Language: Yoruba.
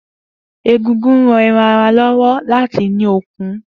Egungun ń ran ẹran ara lọ́wọ́ láti ní okun